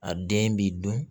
A den b'i dun